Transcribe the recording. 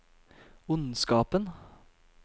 ondskapen